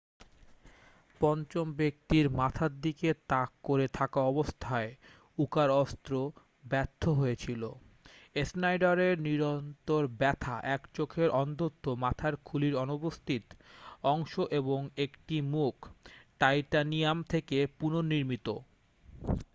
পঞ্চম ব্যাক্তির মাথার দিকে তাক করে থাকা অবস্থায় উকার অস্ত্র ব্যর্থ্য হয়েছিল স্নাইডারের নিরন্তর ব্যথা এক চোখে অন্ধত্ব মাথার খুলির অনুপস্থিত অংশ এবং একটি মুখ টাইটানিয়াম থেকে পুনর্নির্মিত